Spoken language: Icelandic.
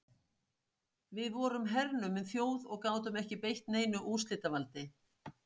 Við vorum hernumin þjóð og gátum ekki beitt neinu úrslitavaldi.